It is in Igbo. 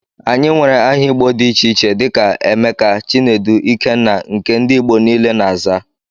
Anyị nwere áhà igbo dị iche iche dika; Emeka, Chinedu, Ikenna, nke ndị ìgbo niile na -aza.